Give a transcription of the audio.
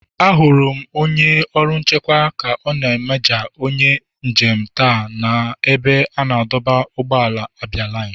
Ahụrụ m onye ọrụ nchekwa ka ọ na-amaja onye njem taa n'ebe a na-adọba ụgbọala abialine.